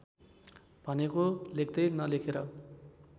भनेको लेख्दै नलेखेर